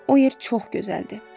O yer çox gözəldir.